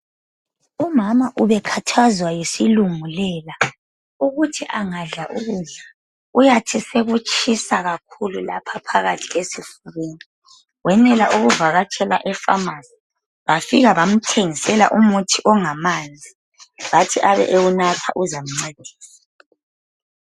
umama ubekhathazwa yisilungulela ukuthi angadla ukudlamuyathi sekutshisa kakhulu lapha phakathi esifubeni wenela ukuvakatshela e phamarcy bafika bamthengisela umuthi ongamanzi bathi abewunatha uzamncedisa